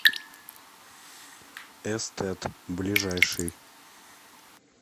эстэт ближайший